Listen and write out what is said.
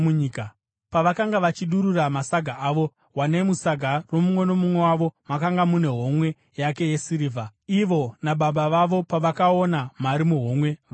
Pavakanga vachidurura masaga avo, wanei musaga romumwe nomumwe wavo makanga mune homwe yake yesirivha! Ivo nababa vavo pavakaona mari muhomwe, vakatya.